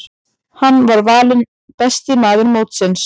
Hann var valinn besti maður mótsins.